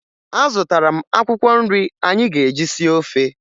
Azụtara m akwụkwọ nri anyị ga-eji sie ofe